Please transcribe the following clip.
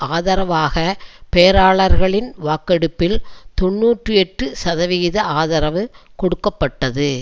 ஆதரவாக பேராளர்களின் வாக்கெடுப்பில் தொன்னூற்றி எட்டு சதவிகித ஆதரவு கொடுக்க பட்டது